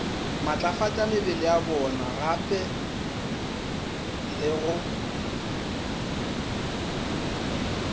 matlafatšamebele ya bonagape le go